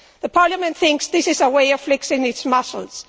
Parliament thinks this is a way of flexing its muscles.